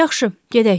Yaxşı, gedək.